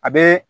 A bɛ